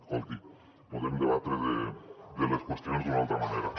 escolti podem debatre sobre les qüestions d’una altra manera